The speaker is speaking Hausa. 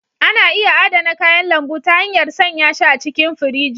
Ana iya adana kayan lambu ta hanyar sanya shi a cikin firiji.